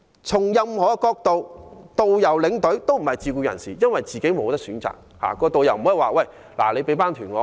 從任何角度看，導遊和領隊都不是自僱人士，因為他們根本沒有選擇。